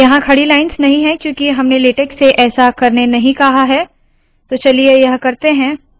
यहाँ खड़ी लाइन्स नहीं है क्यूंकि हमने लेटेक से ऐसा करने नहीं कहा है तो चलिए यह करते है